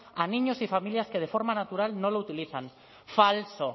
a niños y familias que de forma natural no lo utilizan falso